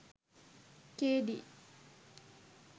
K.D.